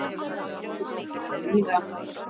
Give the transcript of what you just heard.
Hálkublettir er á víða